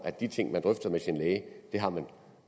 at de ting man drøfter med sin læge har man